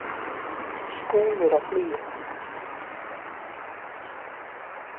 Skúmur á flugi.